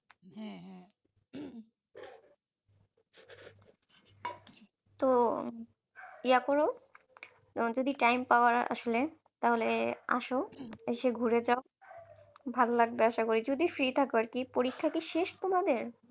তো ইয়া কর যদি time পাও আসলে তাহলে আসো এসে ঘুরে যাও ভালো লাগবে আশা করি যদি free থাকো আর কী পরীক্ষা কি শেষ তোমাদের?